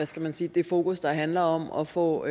skal man sige det fokus der handler om at få